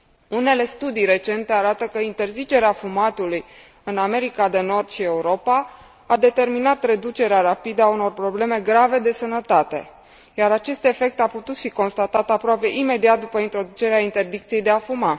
Unele studii recente arată că interzicerea fumatului în America de Nord și Europa a determinat reducerea rapidă a unor probleme grave de sănătate, iar acest efect a putut fi constatat aproape imediat după introducerea interdicției de a fuma.